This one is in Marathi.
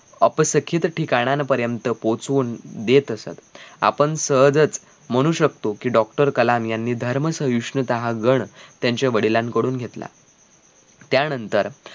अपसखींत ठिकाणांपर्यन्त पोहचून देत असत आपण सहजच म्हणू शकतो कि doctor कलाम यांनी धर्मसहिष्णुता हा गड त्यांच्या वडिलांकडून घेतला त्यानंतर